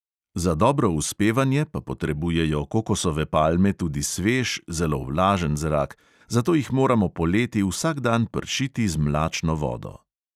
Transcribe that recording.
Za dobro uspevanje pa potrebujejo kokosove palme tudi svež, zelo vlažen zrak, zato jih moramo poleti vsak dan pršiti z mlačno vodo.